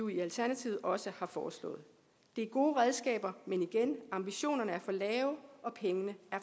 i alternativet også har foreslået det er gode redskaber men igen at ambitionerne er for lave og pengene